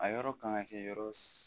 A yɔrɔ kan ka kɛ yɔrɔ